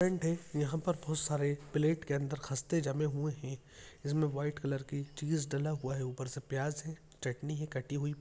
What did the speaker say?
है यहाँ पर बहोत सारे प्लेट के अंदर खस्ते जमे हुए हैं इसमें वाइट कलर की चीज़ डला हुआ है उपर से प्याज है चटनी है कटी हई।